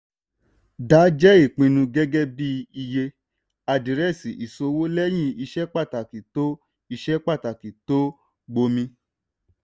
dáa jẹ́ ìpinnu gẹ́gẹ́ bí iye àdírẹ́sì ìṣòwò lẹ́yìn iṣẹ́ pàtàkì tó iṣẹ́ pàtàkì tó gbomi.